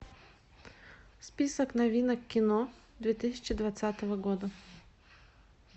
список новинок кино две тысячи двадцатого года